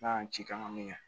N'a y'an ci kan min